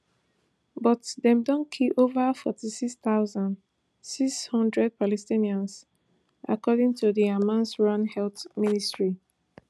but dem don kill ova forty-six thousand, six hundred palestinians according to di hamas run health ministry